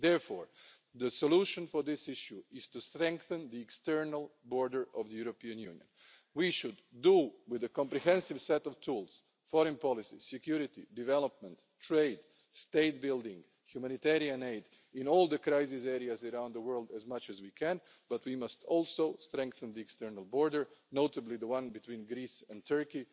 Therefore, the solution to this issue is to strengthen the external border of the European Union. We should do this with a comprehensive set of tools foreign policy, security, development, trade, state-building, humanitarian aid in all the crisis areas around the world as much as we can, but we must also strengthen the external border, notably the one between Greece and Turkey.